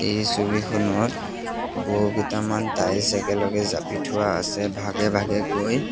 এই ছবিখনত বহু কেইটামান টাইলছ একেলগে জাপি থোৱা আছে ভাগে ভাগে কৈ।